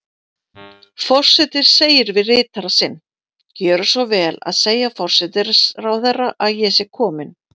Forseti segir við ritara sinn: Gjöra svo vel að segja forsætisráðherra að ég sé komin